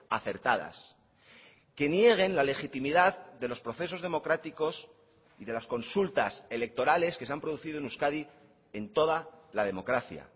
acertadas que nieguen la legitimidad de los procesos democráticos y de las consultas electorales que se han producido en euskadi en toda la democracia